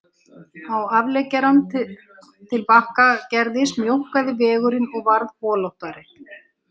Á afleggjaranum til Bakkagerðis mjókkaði vegurinn og varð holóttari